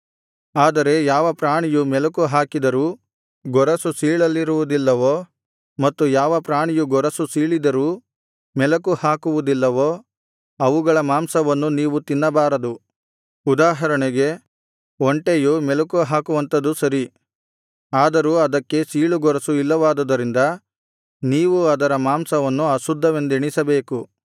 ಆದರೆ ಯಾವ ಪ್ರಾಣಿಯು ಮೆಲಕು ಹಾಕಿದರೂ ಗೊರಸು ಸೀಳಲಿರುವುದಿಲ್ಲವೋ ಮತ್ತು ಯಾವ ಪ್ರಾಣಿಯು ಗೊರಸು ಸೀಳಿದರೂ ಮೆಲಕು ಹಾಕುವುದಿಲ್ಲವೋ ಅವುಗಳ ಮಾಂಸವನ್ನು ನೀವು ತಿನ್ನಬಾರದು ಉದಾಹರಣೆಗೆ ಒಂಟೆಯು ಮೆಲಕುಹಾಕುವಂಥದು ಸರಿ ಆದರೂ ಅದಕ್ಕೆ ಸೀಳುಗೊರಸು ಇಲ್ಲವಾದುದರಿಂದ ನೀವು ಅದರ ಮಾಂಸವನ್ನು ಅಶುದ್ಧವೆಂದೆಣಿಸಬೇಕು